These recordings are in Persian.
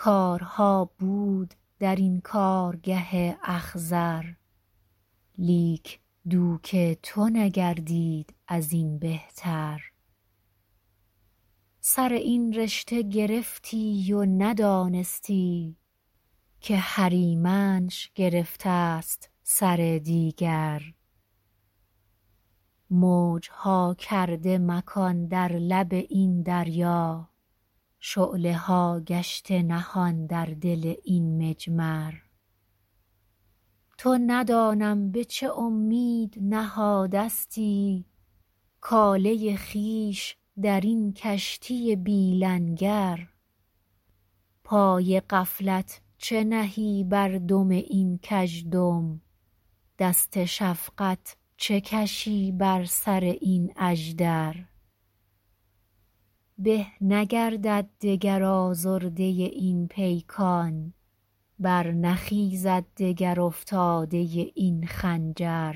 کارها بود در این کارگه اخضر لیک دوک تو نگردید ازین بهتر سر این رشته گرفتی و ندانستی که هریمنش گرفتست سر دیگر موجها کرده مکان در لب این دریا شعله ها گشته نهان در دل این مجمر تو ندانم به چه امید نهادستی کاله خویش در این کشتی بی لنگر پای غفلت چه نهی بر دم این کژدم دست شفقت چه کشی بر سر این اژدر به نگردد دگر آزرده این پیکان برنخیزد دگر افتاده این خنجر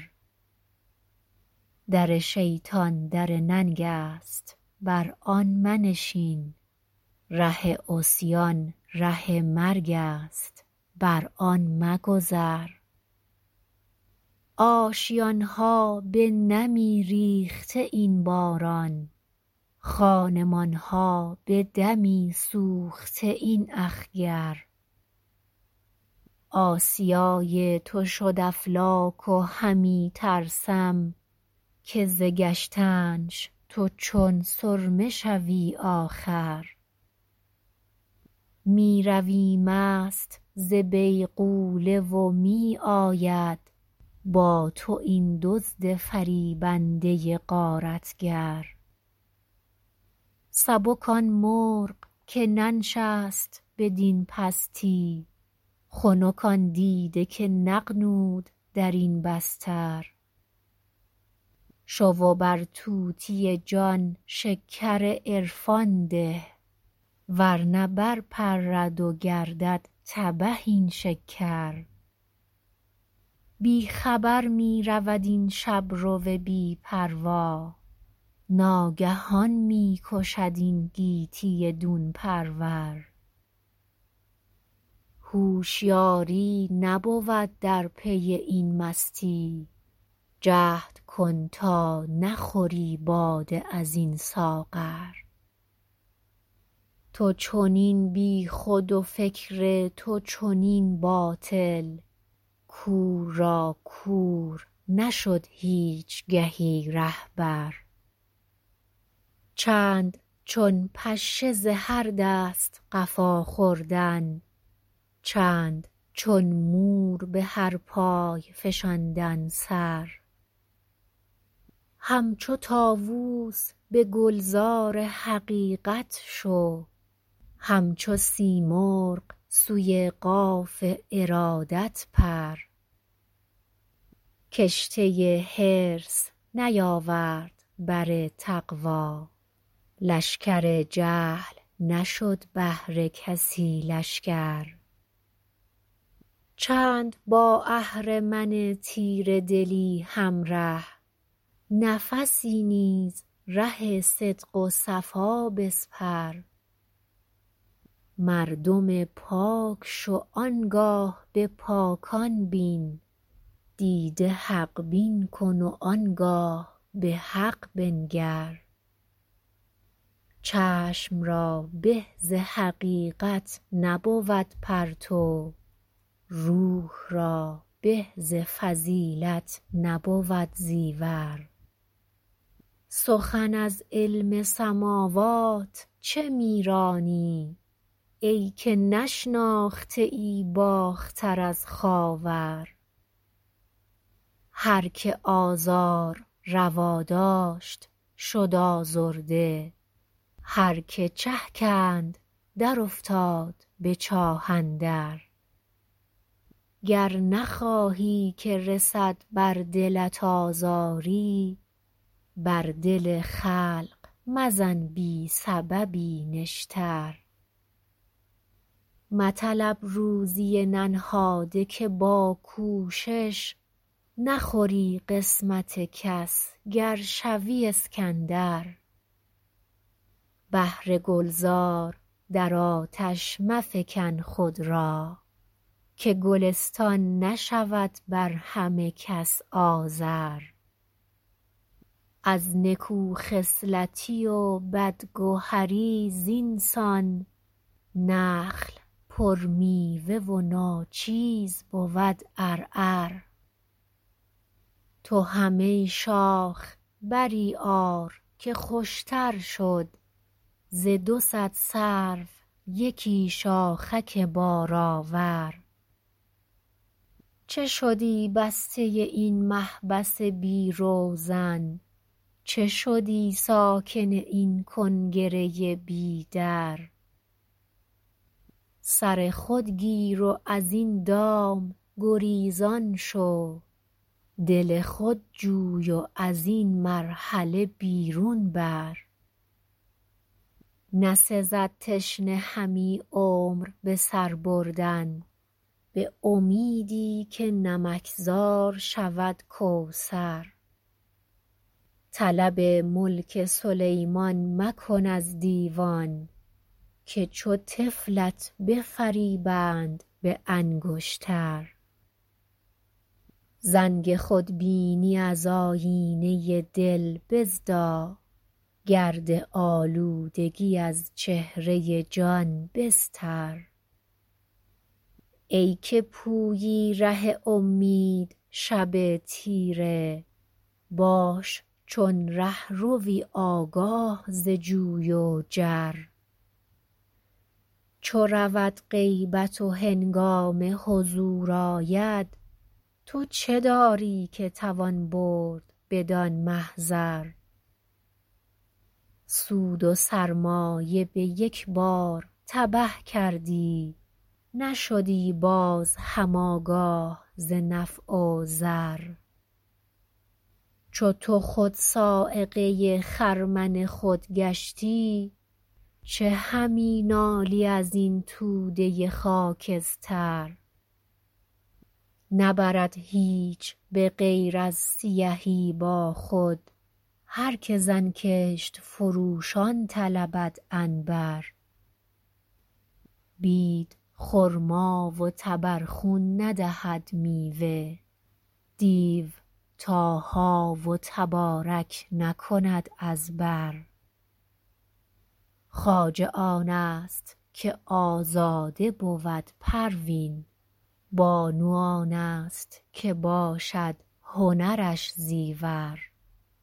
در شیطان در ننگست بر آن منشین ره عصیان ره مرگست بر آن مگذر آشیانها به نمی ریخته این باران خانمانها به دمی سوخته این اخگر آسیای تو شد افلاک و همی ترسم که ز گشتنش تو چون سرمه شوی آخر میروی مست ز بیغوله و می آید با تو این دزد فریبنده غارتگر سبک آنمرغ که ننشست بدین پستی خنک آن دیده که نغنود درین بستر شو و بر طوطی جان شکر عرفان ده ورنه بر پرد و گردد تبه این شکر بی خبر میرود این شبرو بی پروا ناگهان میکشد این گیتی دون پرور هوشیاری نبود در پی این مستی جهد کن تا نخوری باده از این ساغر تو چنین بیخود و فکر تو چنین باطل کور را کور نشد هیچگهی رهبر چند چون پشه ز هر دست قفا خوردن چند چون مور بهر پای فشاندن سر همچو طاوس بگلزار حقیقت شو همچو سیمرغ سوی قاف ارادت پر کشته حرص نیاورد بر تقوی لشکر جهل نشد بهر کسی لشکر چند با اهرمن تیره دلی همره نفسی نیز ره صدق و صفا بسپر مردم پاک شو آنگاه بپاکان بین دیده حق بین کن و آنگاه بحق بنگر چشم را به ز حقیقت نبود پرتو روح را به ز فضیلت نبود زیور سخن از علم سماوات چه میرانی ایکه نشناخته ای باختر از خاور هر که آزار روا داشت شد آزرده هر که چه کند در افتاد بچاه اندر گر نخواهی که رسد بر دلت آزاری بر دل خلق مزن بی سببی نشتر مطلب روزی ننهاده که با کوشش نخوری قسمت کس گر شوی اسکندر بهر گلزار در آتش مفکن خود را که گلستان نشود بر همه کس آذر از نکو خصلتی و بد گهری زینسان نخل پر میوه وناچیز بود عرعر تو هم ای شاخ بری آر که خوشتر شد ز دو صد سرو یکی شاخک بار آور چه شدی بسته این محبس بی روزن چه شدی ساکن این کنگره بی در سر خود گیر و از این دام گریزان شو دل خود جوی و ازین مرحله بیرون بر نسزد تشنه همی عمر بسر بردن بامیدی که نمک زار شود کوثر طلب ملک سلیمان مکن از دیوان که چو طفلت بفریبند به انگشتر زنگ خودبینی از آیینه دل بزدا گر آلودگی از چهره جان بستر ایکه پویی ره امید شب تیره باش چون رهروی آگاه ز جوی و جر چو رود غیبت و هنگام حضور آید تو چه داری که توان برد بدان محضر سود و سرمایه بیک بار تبه کردی نشدی باز هم آگاه ز نفع و ضر چو تو خود صاعقه خرمن خود گشتی چه همی نالی ازین توده خاکستر نبرد هیچ بغیر از سیهی با خود هر که زانکشت فروشان طلبد عنبر بید خرما و تبر خون ندهد میوه دیو طه و تبارک نکند از بر خواجه آنست که آزاده بود پروین بانو آنست که باشد هنرش زیور